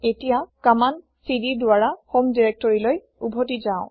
এতিয়া কমান্দ cdৰ দ্বাৰা হম দিৰেক্তৰিলৈ উভতি যাও